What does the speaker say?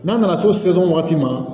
N'a nana seson wagati ma